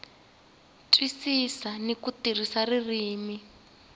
twisisa ni ku tirhisa ririmi